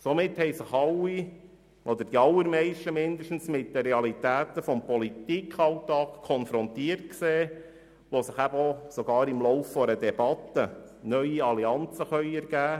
Somit sahen sich die Allermeisten mit den Realitäten des Politikalltags konfrontiert, wo sich sogar im Lauf einer Debatte neue Allianzen ergeben konnten.